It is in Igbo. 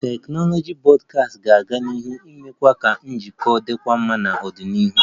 Teknụzụ Broadband ga-aga n'ihu na-eme ka njikọta dịkwuo mma n'ọdịnihu